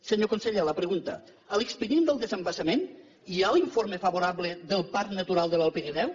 senyor conseller la pregunta a l’expedient del desembassament hi ha l’informe favorable del parc natural de l’alt pirineu